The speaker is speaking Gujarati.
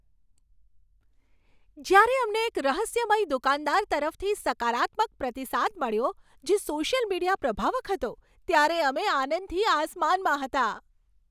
જ્યારે અમને એક રહસ્યમય દુકાનદાર તરફથી સકારાત્મક પ્રતિસાદ મળ્યો, જે સોશિયલ મીડિયા પ્રભાવક હતો, ત્યારે અમે આનંદથી આસમાનમાં હતાં.